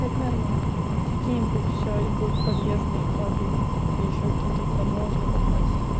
это нормально какие-нибудь будут подъездные клады или ещё какие-то куда можно попасть